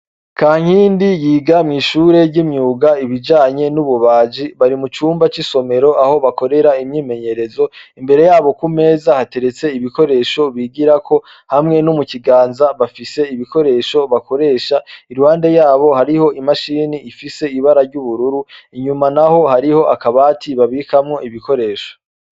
Kankindi yiga mw'ishure ry'imyuga ibijanye n'ububaji, bari mu cumba c'isomero aho bakorera imyimenyerezo, imbere yabo ku meza hateretse ibikoresho bigirako hamwe no mu kiganza bafise ibikoresho bakoresha, iruhande yabo hariho imashini ifise ibara ry'ubururu, inyuma naho hariho akabati babikamwo ibikoresha.